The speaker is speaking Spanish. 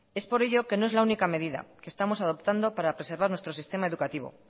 es por ello que no es la única medida que estamos adoptando para preservar nuestro sistema educativo